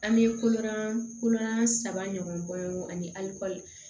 An bɛ kolon kolonlan saba ɲɔgɔn bɔ ani